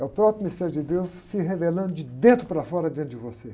É o próprio mistério de Deus se revelando de dentro para fora dentro de você.